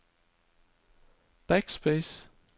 backspace